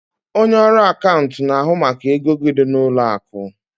Onye ọrụ akaụntụ na-ahụ maka ego gị n'ụlọ akụ.